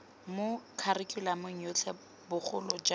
mo kharikhulamong yotlhe bogolo jang